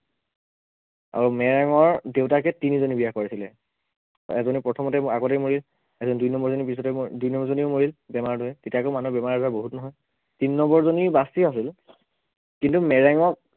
আৰু মেৰেঙৰ দেউতাকে তিনিজনী বিয়া কৰাইছিলে, এজনী প্ৰথমতেই আগতেই মৰিল এজনী দুই number জনী পিছতে দুই number জনীও মৰিল বেমাৰ ধৰি তেতিয়া আকৌ মানুহৰ বেমাৰ আজাৰ বহুত নহয় তিনি number জনী বাচি আছিল, কিন্তু মেৰেঙক